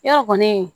Yɔrɔ kɔni